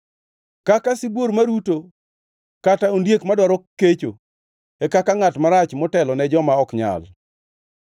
Kaka sibuor maruto kata ondiek madwaro kecho e kaka ngʼat marach motelone joma ok nyal.